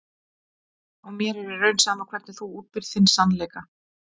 Og mér er í raun sama hvernig þú útbýrð þinn sannleika.